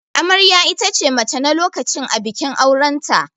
Amarya itace mace na lokacin a bikin auranta.